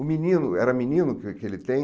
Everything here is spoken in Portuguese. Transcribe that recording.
O menino, era menino que que ele tem?